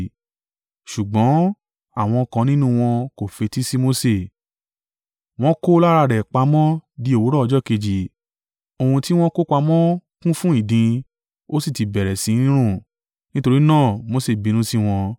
Ṣùgbọ́n, àwọn kan nínú wọn kò fetí sí Mose, wọ́n kó lára rẹ̀ pamọ́ di òwúrọ̀ ọjọ́ kejì, ohun ti wọ́n kó pamọ́ kún fún ìdin, ó sì ti bẹ̀rẹ̀ sí ní rùn. Nítorí náà Mose bínú sí wọn.